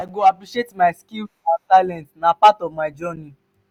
i go appreciate my skills and talents; na part of my journey.